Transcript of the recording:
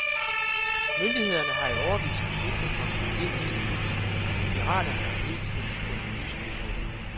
Myndighederne har i årevis forsøgt at komme problemet til livs, men piraterne har hele tiden fundet nye smuthuller.